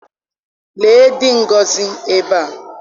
Lee dị Ngozi ebe a.